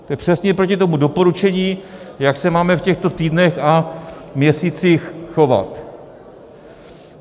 To je přesně proti tomu doporučení, jak se máme v těchto týdnech a měsících chovat.